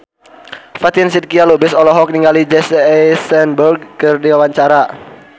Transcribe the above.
Fatin Shidqia Lubis olohok ningali Jesse Eisenberg keur diwawancara